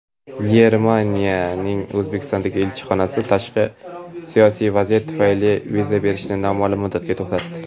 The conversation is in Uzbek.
Germaniyaning O‘zbekistondagi elchixonasi "tashqi siyosiy vaziyat" tufayli viza berishni noma’lum muddatga to‘xtatdi.